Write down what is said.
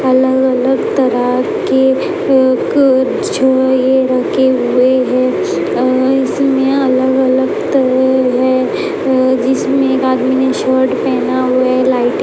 अलग-अलग तरह के एक छ ये रखे हुए है और इसमें अलग-अलग तरह के है अह जिसमें एक आदमी ने शर्ट पहना हुआ है। लाइटिंग --